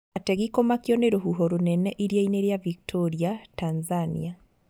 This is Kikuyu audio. Ategi kũmakio nĩ rũhuho rũnene iria-inĩ rĩa Victoria, Tanzania